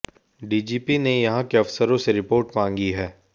DGP ने यहां के अफसरों से रिपोर्ट मांगी है